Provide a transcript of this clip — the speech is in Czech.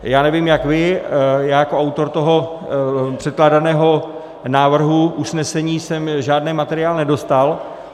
Já nevím jak vy, já jako autor toho předkládaného návrhu usnesení jsem žádný materiál nedostal.